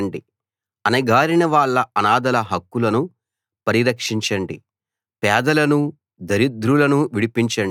పేదలకు అనాథలకు న్యాయం చేయండి అణగారినవాళ్ళ అనాథల హక్కులను పరిరక్షించండి